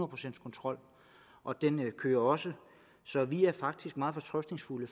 procents kontrol og den kører også så vi er faktisk meget fortrøstningsfulde